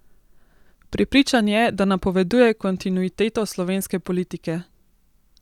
Prepričan je, da napoveduje kontinuiteto slovenske politike.